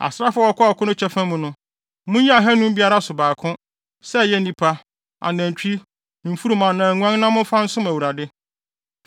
Asraafo a wɔkoo no kyɛfa mu no, munyi ahannum biara so baako; sɛ ɛyɛ nnipa, anantwi, mfurum anaa nguan na momfa nsom Awurade.